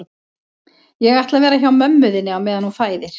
Ég ætla að vera hjá mömmu þinni á meðan hún fæðir